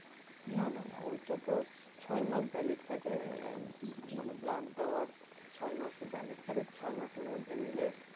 না না না ওইটা তো ছয় মাস valid থাকে আহ মানে blood দেয়ার ছয় মাস valid থাকে ছয় মাস এর মধ্যে নিলে